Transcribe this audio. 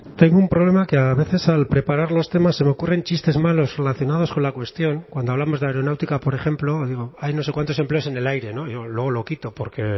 tengo un problema que a veces al preparar los temas se me ocurren chistes malos relacionados con la cuestión cuando hablamos de aeronáutica por ejemplo digo hay no sé cuántos empleos en el aire no luego lo quito porque